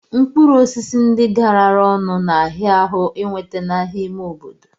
Mkpụrụ osisi ndi garara ọnụ n'ahia ahu iweta n'ahia ime obodo